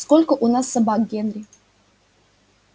сколько у нас собак генри